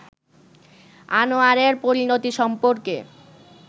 আনোয়ারের পরিণতি সম্পর্কে